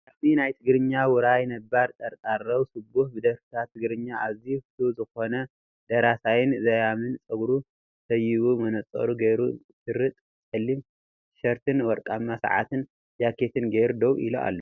ዘያሚ ናይትግርኛ ውርይ ነባር ጠርጣራው ስቡህ ብደርፍታት ትግርኛ ኣዝዩ ፍትው ዝኮነ ደራሳይን ዘያማይን ፀጉሩ ሰይቡ መነፅሩ ጌሩ፣ ሽርጥ ፀሊም ትሸርትን ወርቃማ ሰዓትን ጃኬት ጌሩ ደዉ ኢሉ ኣሎ።